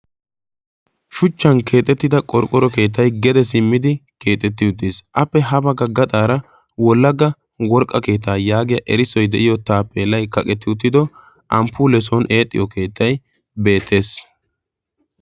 shuchchan keexettida qorqqoro keettai gede simmidi keexetti uttiis appe haba ga gaxaara wolagga worqqa keetaa yaagiya erissoi de7iyo taappeelai kaqetti uttido amppule son eexxiyo keettai beetees.